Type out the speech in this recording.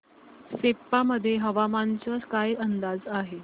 सेप्पा मध्ये हवामानाचा काय अंदाज आहे